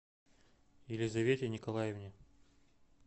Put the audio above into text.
елизавете николаевне